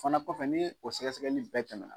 fana kɔfɛ n'i ye o sɛgɛsɛgɛli bɛɛ tɛmɛ